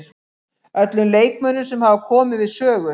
Öllum leikmönnunum sem hafa komið við sögu.